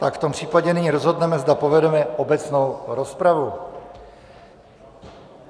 Tak v tom případě nyní rozhodneme, zda povedeme obecnou rozpravu.